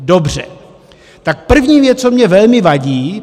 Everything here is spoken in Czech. Dobře, tak první věc, co mi velmi vadí.